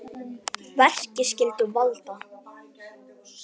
Verki skyldu valda